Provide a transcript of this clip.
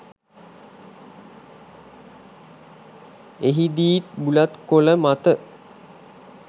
එහිදීත් බුලත් කොළ මත